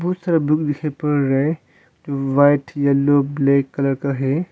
बहुत सारा बुक दिखाई पड़ रहा है जो व्हाइट येलो ब्लैक कलर का है।